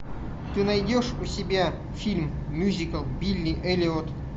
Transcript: ты найдешь у себя фильм мюзикл билли эллиот